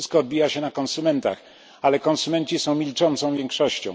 To wszystko odbija się na konsumentach, ale konsumenci są milczącą większością.